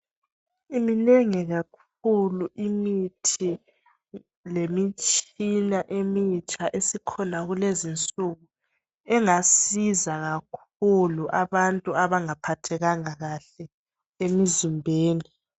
Minengi kakhulu imithi lemitshina emitsha esikhona kulezinsuku .Engasiza kakhulu abantu abanga phathekanga kahle emizimbeni .